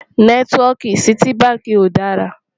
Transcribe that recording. nẹtiwọki Citi bánkì kò dá rà rà